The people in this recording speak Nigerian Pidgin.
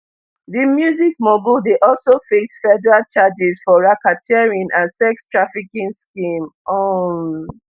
di music mogul dey also face federal charges for racketeering and sex trafficking scheme um